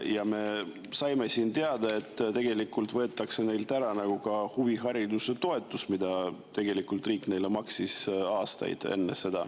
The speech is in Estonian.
Ja me saime siin teada, et tegelikult võetakse neilt ära ka huvihariduse toetus, mida riik on neile aastaid maksnud.